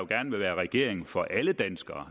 gerne vil være regering for alle danskere